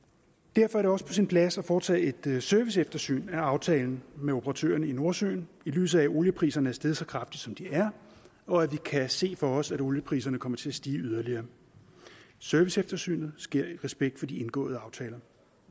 derfor er det også på sin plads at foretage et serviceeftersyn af aftalen med operatørerne i nordsøen i lyset af at oliepriserne er steget så kraftigt som de er og at vi kan se for os at oliepriserne kommer til at stige yderligere serviceeftersynet sker i respekt for de indgåede aftaler